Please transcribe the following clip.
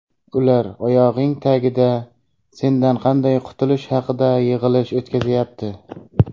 ular oyog‘ing tagida sendan qanday qutulish haqida yig‘ilish o‘tkazyapti.